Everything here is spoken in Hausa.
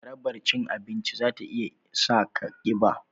Jarabar cin abinci za ta iya sa ka kiba